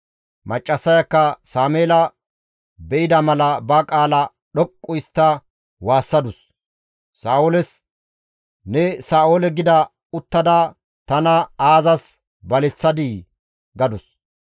Maccassayakka Sameela be7ida mala ba qaala dhoqqu histta waassadus; Sa7ooles, «Ne Sa7oole gida uttada tana aazas baleththadii?» gadus.